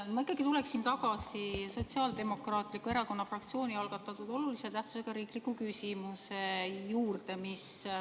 Ma ikkagi tuleksin tagasi Sotsiaaldemokraatliku Erakonna fraktsiooni algatatud olulise tähtsusega riikliku küsimuse juurde.